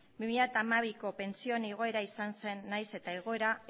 bi mila hamabiko pentsio igoera izan zen nahiz eta egoera